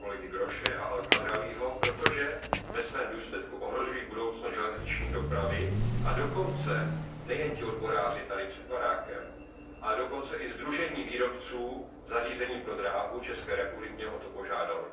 zprávy pana kolegy Grosche a El Khadraouiho, protože ve svém důsledku ohrožují budoucnost železniční dopravy a dokonce nejen ti odboráři tady před budovou, ale i sdružení výrobců zařízení pro dráhu České republiky mě o to požádalo.